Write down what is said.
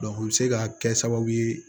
o bɛ se ka kɛ sababu ye